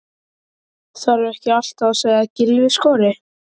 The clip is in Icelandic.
Þarf ekki alltaf að segja að Gylfi skori?